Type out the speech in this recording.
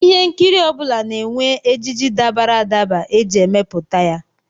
Ihe nkiri ọ bụla na-enwe ejiji dabara adaba e ji emepụta ya